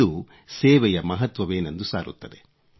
ಇದು ಸೇವೆಯ ಮಹತ್ವವೇನೆಂದು ಸಾರುತ್ತದೆ